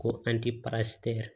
Ko an ti pasitɛ